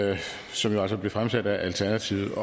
som altså blev fremsat af alternativet